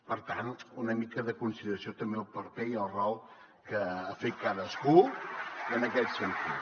per tant una mica de consideració també pel paper i el rol que ha fet cadascú en aquest sentit